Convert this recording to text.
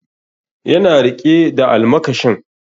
Yana riƙe da almakashin